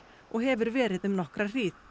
og hefur verið um nokkra hríð